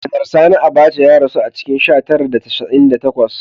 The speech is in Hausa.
Janar Sani Abaca ya rasu a cikin sha tara da casa'in da takwas